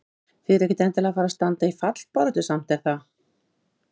Þið eruð ekkert endilega að fara að standa í fallbaráttu samt er það?